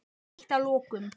Eitt að lokum.